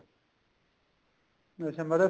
ਅੱਛਾ ਮਤਲਬ